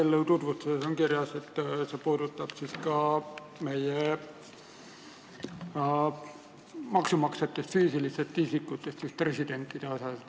Eelnõu tutvustuses on kirjas, et füüsilistest isikutest maksumaksjatest puudutab see mitteresidente.